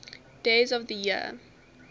days of the year